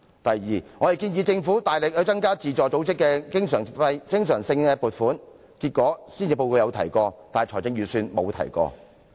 第二，我們建議政府大力增加對自助組織的經常撥款，結果施政報告有提及此事，但預算案沒有。